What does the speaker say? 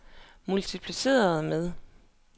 multipliceret med